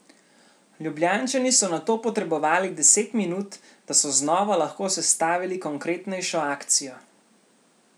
Ljubljančani so nato potrebovali deset minut, da so znova lahko sestavili konkretnejšo akcijo.